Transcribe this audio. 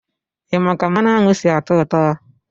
Ị ma ka mmanụ aṅụ si-atọ ụtọ?